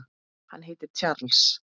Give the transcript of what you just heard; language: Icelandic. Hann heitir Charles